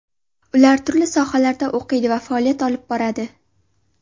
Ular turli sohalarda o‘qiydi va faoliyat olib boradi.